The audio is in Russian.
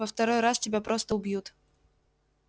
во второй раз тебя просто убьют